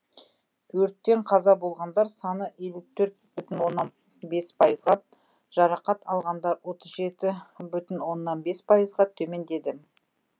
өрттен қаза болғандар саны елу төрт бүтін оннан бес пайызға жарақат алғандар отыз жеті бүтін оннан бес пайызға төмендеді